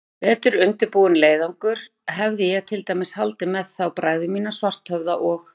Í betur undirbúinn leiðangur hefði ég til dæmis haldið með þá bræður mína, Svarthöfða og